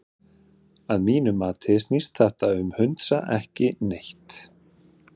Að mínu mati snýst þetta um hundsa ekki neitt.